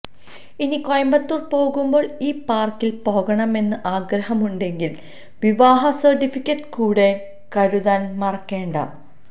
ഇനി കോയമ്പത്തൂര് പോകുമ്പോള് ഈ പാര്ക്കില് പോകണമെന്ന് ആഗ്രഹമുണ്ടെങ്കില് വിവാഹ സര്ട്ടിഫിക്കറ്റ് കൂടെ കരുതാന് മറക്കേണ്ട